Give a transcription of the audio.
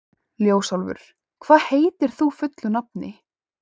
Ljósálfur, hvað heitir þú fullu nafni?